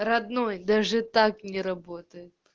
родной даже так не работает